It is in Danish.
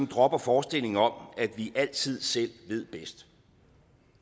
dropper forestillingen om at vi altid selv ved bedst